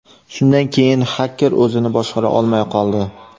Shundan keyin xaker o‘zini boshqara olmay qoldi.